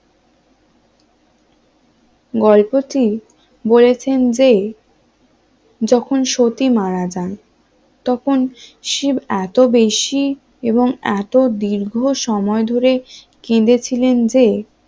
গল্পটি বলেছেন যে যখন সতী মারা যান তখন শিব এত বেশি এবং এত দীর্ঘ সময় ধরে কেঁদেছিলেন যে